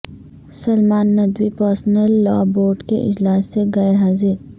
Salman Nadvi personal law board کے اجلاس سے غیر حاضر